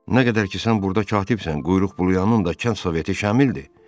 Nə qədər ki sən burda katibsən, quyruq buluyanın da kənd soveti Şamildir.